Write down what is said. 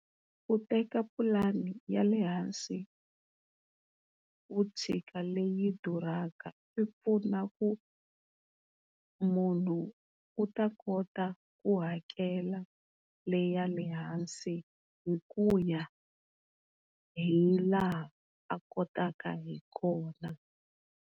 Ku teka pulani ya lehansi u tshika leyi duraka swipfuna ku munhu u ta kota ku hakela le ya lehansi hi ku ya hilaha a kotaka hakona.